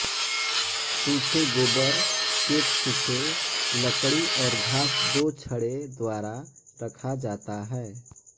सूखे गोबर केक सूखे लकड़ी और घास दो छड़ें द्वारा रखा जाता है